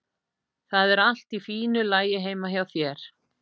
Það er allt í fínu lagi heima hjá þér.